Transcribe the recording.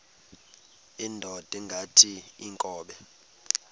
indod ingaty iinkobe